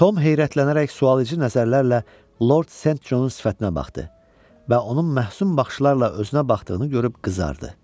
Tom heyrətlənərək sualedici nəzərlərlə Lord St. Johnun sifətinə baxdı və onun məsum baxışlarla özünə baxdığını görüb qızardı.